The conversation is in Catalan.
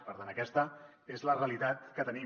per tant aquesta és la realitat que tenim